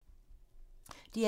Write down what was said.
DR1